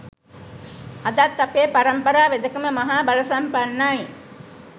අදත් අපේ පරම්පරා වෙදකම මහා බලසම්පන්නයි